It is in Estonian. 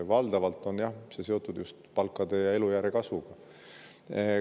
Valdavalt on see seotud just palkade kasvu ja elujärje.